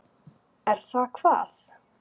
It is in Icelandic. Er það hvað.?